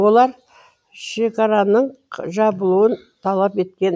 олар шекараның жабылуын талап еткен